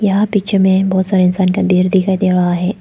यहां पीछे में बहोत सारे इंसान का ढेर दिखा दे रहा है।